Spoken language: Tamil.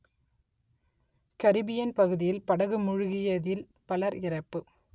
கரிபியன் பகுதியில் படகு மூழ்கியதில் பலர் இறப்பு